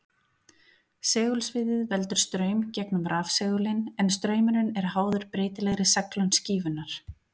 Segulsviðið veldur straum gegnum rafsegulinn en straumurinn er háður breytilegri seglun skífunnar.